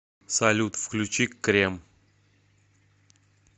салют включи крем